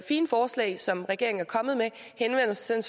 fine forslag som regeringen er kommet med henvender sig